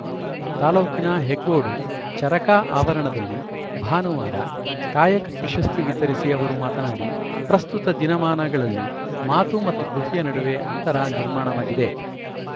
ತಾಲೂಕಿನ ಹೆಗ್ಗೋಡು ಚರಕ ಆವರಣದಲ್ಲಿ ಭಾನುವಾರ ಕಾಯಕ ಪ್ರಶಸ್ತಿ ವಿತರಿಸಿ ಅವರು ಮಾತನಾಡಿ ಪ್ರಸ್ತುತ ದಿನಮಾನಗಳಲ್ಲಿ ಮಾತು ಮತ್ತು ಕೃತಿಯ ನಡುವೆ ಅಂತರ ನಿರ್ಮಾಣವಾಗಿದೆ